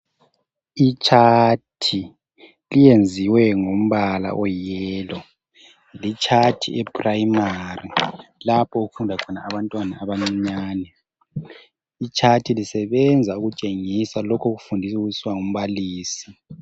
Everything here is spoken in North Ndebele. Itshathi lenziwe ngombala olithanga lisenzelwa abantwana abasezingeni eliphansi abeprimary ,lisebenza ukutshengisa lokho okukhulunywa ngumbalisi.